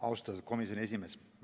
Austatud komisjoni esimees!